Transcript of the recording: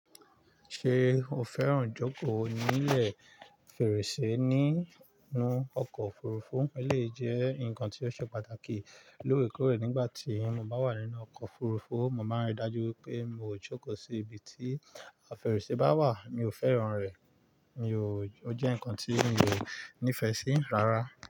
Ṣe o fẹ́ràn ìjókòó ní ilẹ̀ fèrèsé nínú ọkọ̀ òfurufú? Eleyi jẹ́ ǹkan tí ó ṣe pàtàkì. Loorekoórè, nígbà tí mo bá wà nínú ọkọ̀ òfurufú, mo máa ń rí i dájú wi pé mi ò jókòó sí ibi tí fèrèsé bá wà. Mi ò fẹ́ràn rẹ̀, mi ò, ó jẹ́ ǹkan tí mi ò nífẹ̀ẹ́ sí rárá.